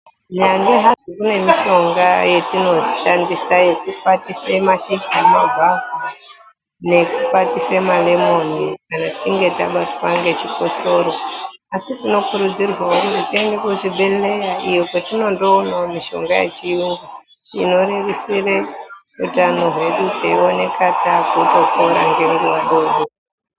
Nyambaa hadzo kune mushonga yatinoshandisa yekukwatise mashizha emagwavha nekukwatise malemoni tichinge tabatwa ngechikosoro asi tinokurudzirwawo kuti tiende kuzvibhedhleya iyo kwatinondoonawo mushonga yechiyungu inorerusire utano hwedu teioneka takutopone ngenguwa dodori.